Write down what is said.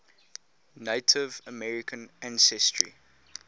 native american ancestry